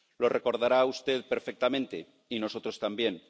Lo recordará usted perfectamente, y nosotros también.